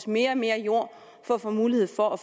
mere og mere jord for at få mulighed for at